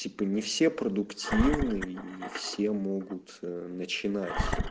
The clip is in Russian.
типа не все продуктивные не все могут начинать